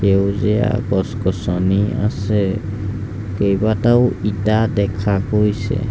সেউজীয়া গছ গছনি আছে কেইবাটাও ইটা দেখা গৈছে।